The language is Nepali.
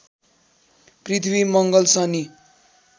पृथ्वी मङ्गल शनि